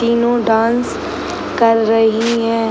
तीनो डांस कर रही है।